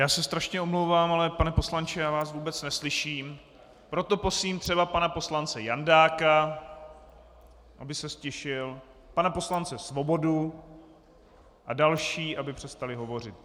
Já se strašně omlouvám, ale pane poslanče, já vás vůbec neslyším, proto prosím třeba pana poslance Jandáka, aby se ztišil, pana poslance Svobodu a další, aby přestali hovořit.